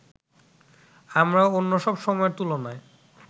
আমরা অন্যসব সময়ের তুলনায়